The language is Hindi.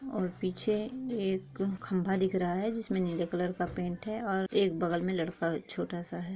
और पीछे एक खम्बा दिखा रहा है जिसमे नीले कलर का पेंट है और एक बगल में लड़का छोटा सा है|